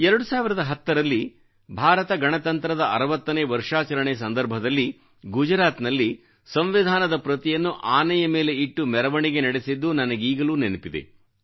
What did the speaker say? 2010ರಲ್ಲಿ ಭಾರತ ಗಣತಂತ್ರದ ಅರವತ್ತನೇ ವರ್ಷಾಚರಣೆ ಸಂದರ್ಭದಲ್ಲಿ ಗುಜರಾತ್ನಲ್ಲಿ ಸಂವಿಧಾನದ ಪ್ರತಿಯನ್ನು ಆನೆಯ ಮೇಲೆ ಇಟ್ಟು ಮೆರವಣಿಗೆ ನಡೆಸಿದ್ದು ನನಗೀಗಲೂ ನೆನಪಿದೆ